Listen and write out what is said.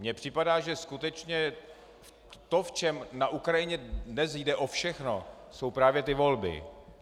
Mně připadá, že skutečně to, v čem na Ukrajině dnes jde o všechno, jsou právě ty volby.